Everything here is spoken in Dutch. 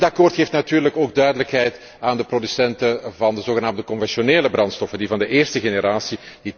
Dit akkoord geeft natuurlijk ook duidelijkheid aan de producenten van de zogenaamde conventionele brandstoffen, die van de eerste generatie.